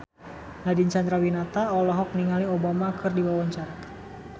Nadine Chandrawinata olohok ningali Obama keur diwawancara